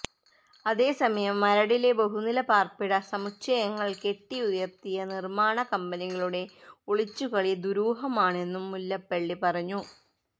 അതേസമയം മരടിലെ ബഹുനില പാര്പ്പിട സമുച്ഛയങ്ങള് കെട്ടി ഉയര്ത്തിയ നിര്മ്മാണ കമ്പനികളുടെ ഒളിച്ചുകളി ദുരൂഹമാണെന്നും മുല്ലപ്പള്ളി പറഞ്ഞു